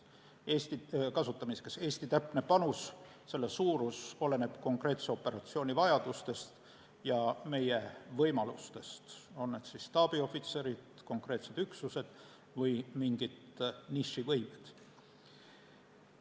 Eesti panuse täpne suurus oleneb konkreetse operatsiooni vajadustest ja meie võimalustest, on need siis staabiohvitserid, konkreetsed üksused või mingid nišivõimed.